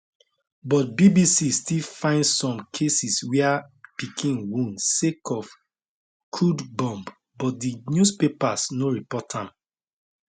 but bbc still find some cases wia pikin wound sake of crude bomb but di newspapers no report am